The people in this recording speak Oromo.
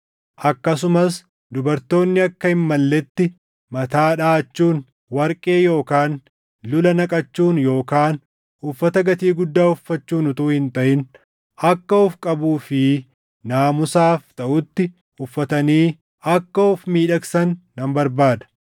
Akkasumas dubartoonni akka hin malletti mataa dhaʼachuun, warqee yookaan lula naqachuun yookaan uffata gatii guddaa uffachuun utuu hin taʼin akka of qabuu fi naamusaaf taʼutti uffatanii akka of miidhagsan nan barbaada;